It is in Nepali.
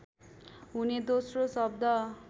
हुने दोस्रो शब्द